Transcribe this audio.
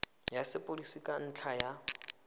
ya sepodisi ka ntlha ya